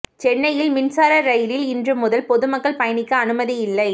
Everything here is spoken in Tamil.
சென்னையில் மின்சார ரயிலில் இன்று முதல் பொதுமக்கள் பயணிக்க அனுமதி இல்லை